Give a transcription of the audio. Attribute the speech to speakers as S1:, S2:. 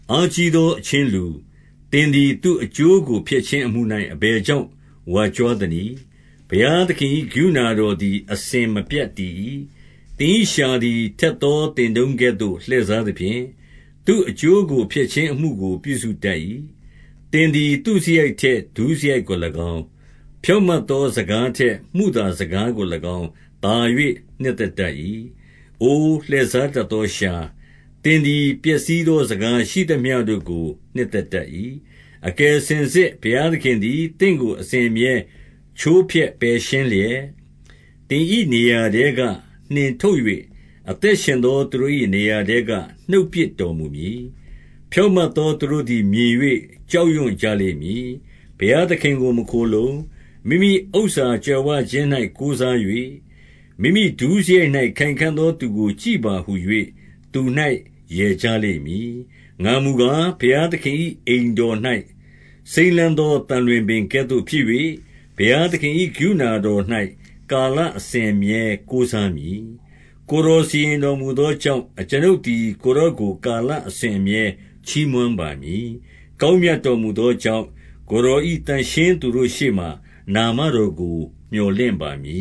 S1: အားကြီးသော အချင်းလူ၊ သင်သည်သူ့အကျိုး ကို ဖျက်ခြင်းအမှု၌ အဘယ်ကြောင့် ဝါကြွားသနည်း။ ဘုရားသခင်၏ ကရုဏာတော်သည် အစဉ်မပြတ် တည်၏။ သင်၏လျှာသည် ထက်သောသင်တုန်းကဲ့သို့ လှည့်စားသဖြင့်၊ သူ့အကျိုးကို ဖျက်ခြင်းအမှုကို ပြုစု တတ်၏။ သင်သည် သုစရိုက်ထက်ဒုစရိုက်ကို၎င်း၊ ဖြောင့် မတ်သောစကား ထက်မုသာစကားကို၎င်း သာ၍ နှစ်သက်တတ်၏။ အိုလှည့်စားတတ်သောလျှာ၊ သင်သည် ပျက်စီး သော စကားရှိသမျှတို့ကို နှစ်သက်တတ်၏။ အကယ်စင်စစ် ဘုရားသခင်သည် သင့်ကို အစဉ်အမြဲ ချိုးဖျက်ပယ်ရှင်းလျက်၊ သင်၏နေရာထဲက နှင်ထုတ်၍၊ အသက်ရှင်သောသူတို့၏ နေရာထဲက နှုတ်ပစ်တော်မူမည်။ ဖြောင့်မတ်သော သူတို့သည်မြင်၍ ကြောက်ရွံ့ ကြလိမ့်မည်။ ဘုရားသခင်ကိုမခိုလှုံ၊ မိမိဥစ္စာကြွယ်ဝခြင်း၌ ကိုးစား၍၊ မိမိဒုစရိုက်၌ခိုင်ခံ့သော သူကို ကြည့်ပါဟူ၍ သူ၌ရယ်ကြလိမ့်မည်။ ငါမူကား၊ ဘုရားသခင်၏အိမ်တော်၌ စိမ်းလန်း သောသံလွင်ပင်ကဲ့သို့ဖြစ်၍၊ ဘုရားသခင်၏ ကရုဏာ တော်၌ ကာလအစဉ်အမြဲကိုးစားမည်။ ကိုယ်တော်စီရင်တော်မူသောကြောင့်၊ အကျွန်ုပ် သည် ကိုယ်တော်ကို ကာလအစဉ်အမြဲ ချီးမွမ်းပါမည်။ ကောင်းမြတ်တော်မူသောကြောင့်၊ ကိုယ်တော်၏သန့်ရှင်း သူတို့ရှေ့မှာ နာမတော်ကို မြော်လင့်ပါမည